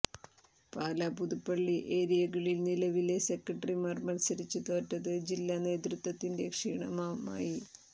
പാലാ പുതുപ്പള്ളി ഏര്യകളിൽ നിലവിലെ സെക്രട്ടറിമാർ മത്സരിച്ച് തോറ്റത് ജില്ലാ നേതൃത്വത്തിന്റെ ക്ഷീണമമായി